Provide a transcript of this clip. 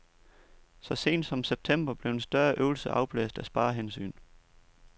Så sent som september blev en større øvelse afblæst af sparehensyn.